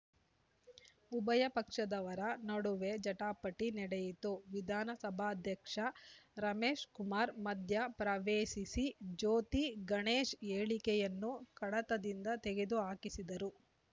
ಉಭಯ ಪಕ್ಷದವರ ನಡುವೆ ಜಟಾಪಟಿ ನಡೆಯಿತು ವಿಧಾನಸಭಾಧ್ಯಕ್ಷ ರಮೇಶ್‌ಕುಮಾರ್‌ ಮಧ್ಯಪ್ರವೇಶಿಸಿ ಜ್ಯೋತಿ ಗಣೇಶ್‌ ಹೇಳಿಕೆಯನ್ನು ಕಡತದಿಂದ ತೆಗೆದು ಹಾಕಿಸಿದರು